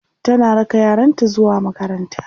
tana raka yaranta zuwa makaranta